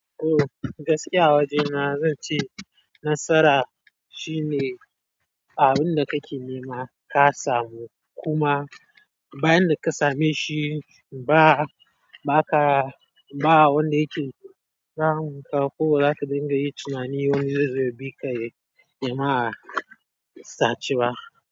To gaskiya a waje na zan ce nasara shine. Abun da ka ke nema ka samu kuma. Bayan da ka same shi ba, ba ka, ba wanda yake damun ka ko ba zaka dinga yi tunani wani zai zo ya bi ka ya nema a sace ba.